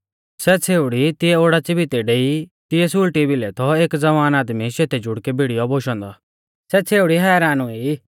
सै छ़ेउड़ी तिऐ ओडाच़ी भितै डेई ता तिऐ सुल़टी भिलै थौ एक ज़वान आदमी शेतै जुड़कै भिड़ीयौ बोशौ औन्दौ सै छ़ेउड़ी हैरान हुई